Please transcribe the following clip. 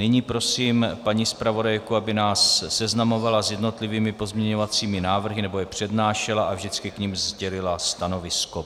Nyní prosím paní zpravodajku, aby nás seznamovala s jednotlivými pozměňovacími návrhy nebo je přednášela a vždycky k nim sdělila stanovisko.